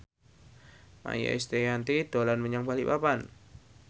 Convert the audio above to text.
Maia Estianty dolan menyang Balikpapan